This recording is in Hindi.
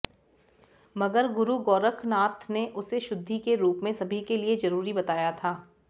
मगर गुरु गोरखनाथ ने उसे शुद्धि के रूप में सभी के लिए जरूरी बताया था